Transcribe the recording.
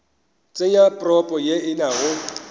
tsenya propo ye e nago